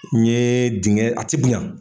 N ye dingɛ a ti dunya